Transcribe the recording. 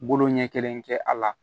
Bolo ɲɛ kelen kɛ a la